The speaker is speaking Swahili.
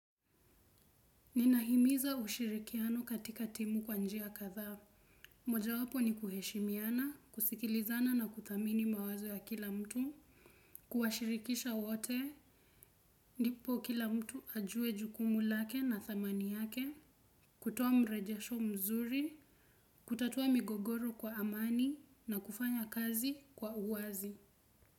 Ninahimiza ushirikiano katika timu kwa njia katha. Mojawapo ni kuheshimiana, kusikilizana na kuthamini mawazo ya kila mtu, kuwashirikisha wote, ndipo kila mtu ajue jukumu lake na thamani yake, kutoa mrejesho mzuri, kutatuwa migogoro kwa amani na kufanya kazi kwa uwazi.